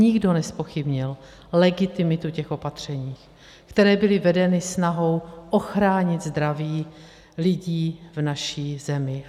Nikdo nezpochybnil legitimitu těch opatření, která byla vedena snahou ochránit zdraví lidí v naší zemi.